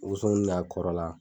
Muso in a kɔrɔ la